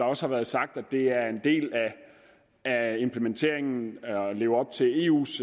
også har været sagt at det er en del af implementeringen at leve op til eus